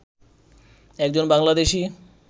একজন বাংলাদেশি